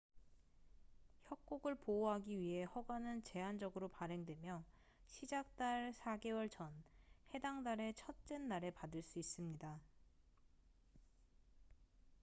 협곡을 보호하기 위해 허가는 제한적으로 발행되며 시작 달 4개월 전 해당 달의 첫째 날에 받을 수 있습니다